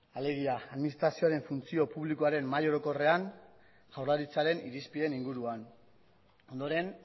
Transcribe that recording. alegia administrazioaren funtzio publikoaren mahai orokorrean jaurlaritzaren irizpideen inguruan ondoren